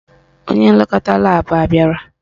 Onye nlekọta laabụ abịara?